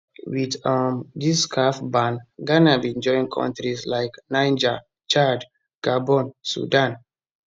wit um dis caf ban ghana bin join kontris like niger chad gabon sudan